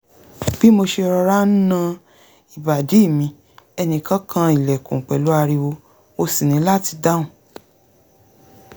bí mo ṣe ń rọra ń na ìbàdí mi ẹnìkan kan ilẹ̀kùn pẹ̀lú ariwo mo sì ní láti dáhùn